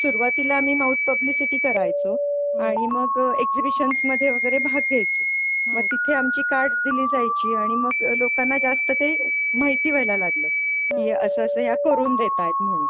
सुरुवातीला आम्ही mouth publicity करायचो आणि मग एक्सिहिबिशन्स मध्ये वगैरे भाग घ्यायचो मग तिथे आमची कार्ड दिली जायची आणि मग लोकांना जास्त ते माहिती व्हायला लागल आहे असं असं ह्या करून देत आहेत म्हणून.